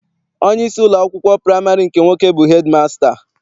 Onyeisi ụlọakwụkwọ praịmarị nke nwoke bụ hedịmasịta.